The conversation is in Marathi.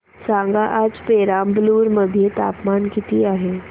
सांगा आज पेराम्बलुर मध्ये तापमान किती आहे